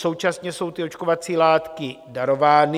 Současně jsou ty očkovací látky darovány.